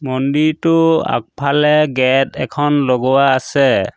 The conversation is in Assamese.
মন্দিৰটো আগফালে গেট এখন লগোৱা আছে।